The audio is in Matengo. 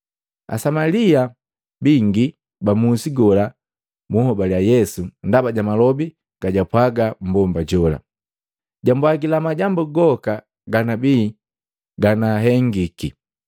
Asamalia bingi ba musi gola buhobali Yesu ndaba ja malobi gajapwaga mmbomba jola, “Jambwajila majambu goka ganabii nagahengiki.”